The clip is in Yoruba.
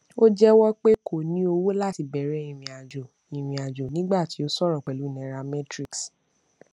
ó jẹwọ pé kò ní owó láti bẹrẹ ìrìnàjò ìrìnàjò nígbà tí ó sọrọ pẹlú nairametrics